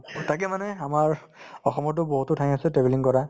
to তাকে মানে আমাৰ অসমতো বহুতো ঠাই আছে travelling কৰা